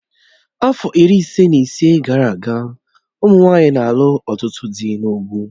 Afọ iri ise na ise gara aga, ụmụ nwanyị na-alụ ọtụtụ dị n'ugwu